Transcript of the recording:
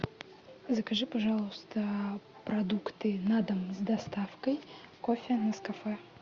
закажи пожалуйста продукты на дом с доставкой кофе нескафе